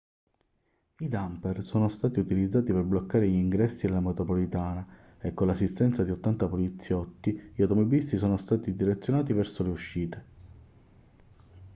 i dumper sono stati utilizzati per bloccare gli ingressi della metropolitana e con l'assistenza di 80 poliziotti gli automobilisti sono stati direzionati verso le uscite